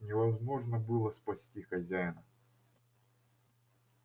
невозможно было спасти хозяина